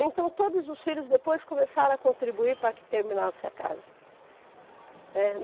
Então, todos os filhos depois começaram a contribuir para que terminasse a casa.